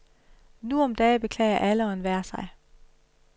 Nu om dage beklager alle og enhver sig.